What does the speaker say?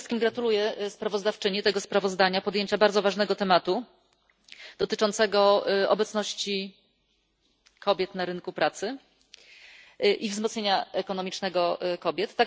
Przede wszystkim gratuluję sprawozdawczyni tego sprawozdania, podjęcia bardzo ważnego tematu dotyczącego obecności kobiet na rynku pracy i wzmocnienia ekonomicznego kobiet.